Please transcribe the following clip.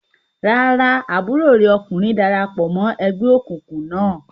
Rárá, àbúrò rẹ̀ ọkùnrin dara pọ̀ mọ́ ẹgbẹ́ òkùnkùn náà.